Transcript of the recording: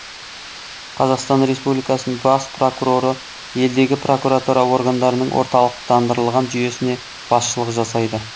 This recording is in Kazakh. қазақстан республикасының бас прокуроры елдегі прокуратура органдарының орталықтандырылған жүйесіне басшылық жасайды